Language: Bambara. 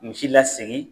Misi lasegi